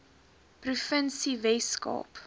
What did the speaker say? provinsie wes kaap